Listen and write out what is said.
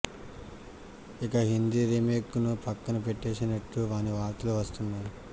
ఇక హిందీ రీమేక్ ను పక్కన పెట్టేసినట్టే అని వార్తలు వస్తున్నాయి